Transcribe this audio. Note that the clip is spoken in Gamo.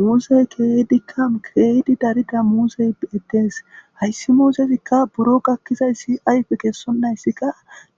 Muusey keydikka kieydi darida muusey bettees hayssi muusezikka buro gakkizayssi ayfe kessonnayssikka